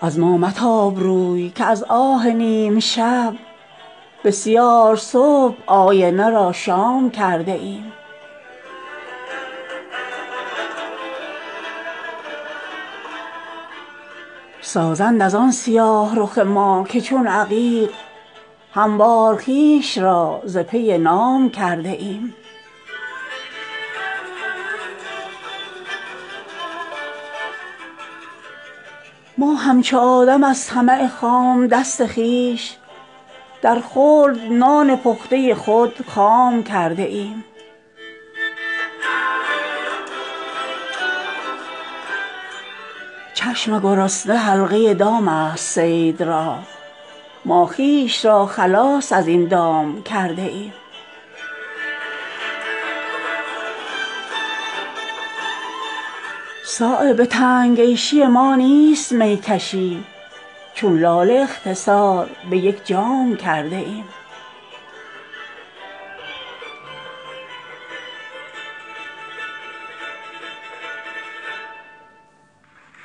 از ما متاب روی که از آه نیمشب بسیار صبح آینه را شام کرده ایم ما را فریب دانه نمی آورد به دام کز دانه صلح با گره دام کرده ایم در حسرت بنفشه خطان زمانه است چشمی که ما سفید چو بادام کرده ایم در آخرین نفس کفن خویش را چو صبح از شوق کعبه جامه احرام کرده ایم ما همچو آدم از طمع خام دست خویش در خلد نان پخته خود خام کرده ایم سازند ازان سیاه رخ ما که چون عقیق هموار خویش را ز پی نام کرده ایم چشم گرسنه حلقه دام است صید را ما خویش را خلاص ازین دام کرده ایم صایب به تنگ عیشی ما نیست میکشی چون لاله اختصار به یک جام کرده ایم